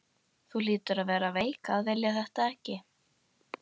Þú hlýtur að vera veik að vilja þetta ekki!